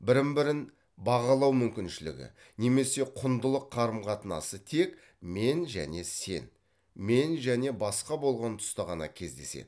бірін бірін бағалау мүмкіншілігі немесе құндылық қарым қатынасы тек мен және сен мен және басқа болған тұста ғана кездеседі